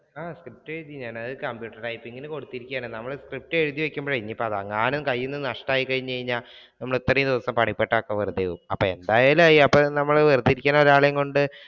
ഞാൻ സ്ക്രിപ്റ്റ് എഴുതി ഞാൻ അത് computer writing കൊടുത്തിരിക്കേണ് നമ്മൾ ഇത്രയും ദിവസം പണിപ്പെട്ടത് ഒക്കെ വെറുതെ ആവും അപ്പൊ എന്തായാലും ആയി വെറുതെ ഇരിക്കുന്ന ഒരാളെ കൊണ്ട്